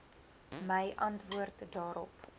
my antwoord daarop